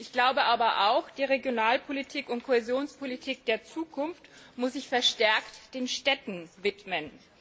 Ich glaube aber auch, die Regionalpolitik und Kohäsionspolitik der Zukunft muss sich verstärkt den Städten widmen.